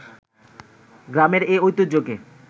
গ্রামের এ ঐতিহ্যকে